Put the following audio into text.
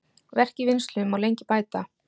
Verk í vinnslu má lengi bæta.